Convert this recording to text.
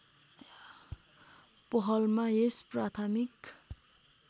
पहलमा यस प्राथमिक